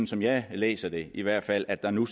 som jeg læser det i hvert fald at der nu